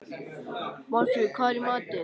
Málfríður, hvað er í matinn?